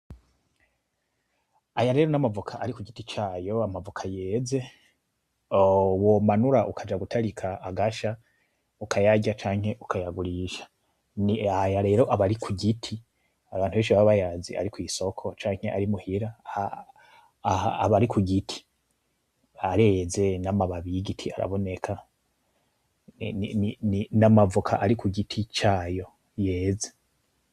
Aya rero namavoka ari kugiti cayo amavoka yeze womanura ukaja gutarika agasha, ukayarya canke ukayagurisha. Aya rero aba ari kugiti abantu baba bayazi ari kwisoko canke ari muhira, aha aba ari kugiti areze namababi yigiti araboneka, namavoka ari kugiti cayo yeze.